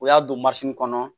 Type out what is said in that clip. O y'a don kɔnɔ